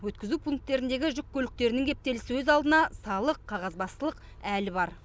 өткізу пункттеріндегі жүк көліктерінің кептелісі өз алдына салық қағазбастылық әлі бар